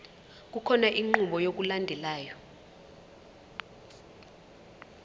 kukhona inqubo yokulandelayo